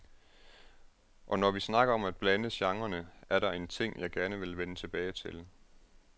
Og når vi snakker om at blande genrerne, er der en ting, jeg gerne vil vende tilbage til.